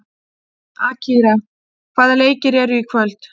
Akira, hvaða leikir eru í kvöld?